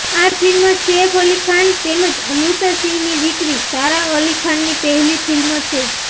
આ ફિલ્મ સૈફ અલી ખાન તેમજ અમૃતા સિંહની દીકરી સારા અલી ખાનની પહેલી ફિલ્મ છે